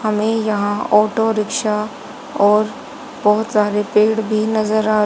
हमे यहां auto rickshaw और बहोत सारे पेड़ भी नजर आ--